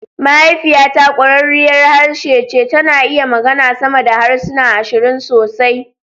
Mahaifiyata ƙwararriyar harshe ce, tana iya magana sama da harsuna ashirin sosai